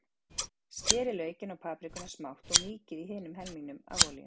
Skerið laukinn og paprikuna smátt og mýkið í hinum helmingnum af olíunni.